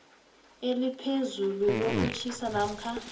eliphezulu lokutjhisa namkha